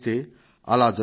అలా జరుగుతుంది